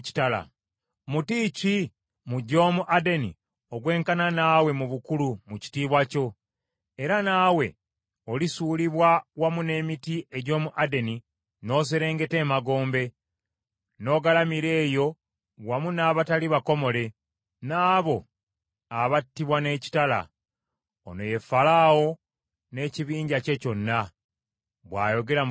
“ ‘Muti ki mu gy’omu Adeni ogw’enkana naawe mu bukulu mu kitiibwa kyo? Era naye, olisuulibwa wamu n’emiti egy’omu Adeni n’oserengeta emagombe, n’ogalamira eyo wamu n’abatali bakomole, n’abo abattibwa n’ekitala. “ ‘Ono ye Falaawo n’ekibinja kye kyonna, bw’ayogera Mukama Katonda.’ ”